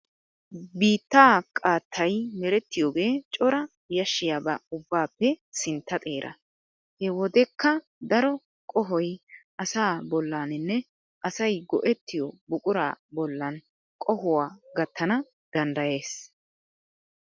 Biittaa qaattayi merettiyoogee cora yashiyaaba ubbaappe sintta xeera. He wodekka daro qohoyi asaa bollaaninne asayi go"ettiyoo buquraa bollan qohuwaa gattana danddayes.